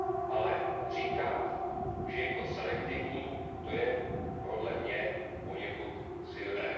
Ale říkat, že je to selektivní, to je podle mě poněkud silné.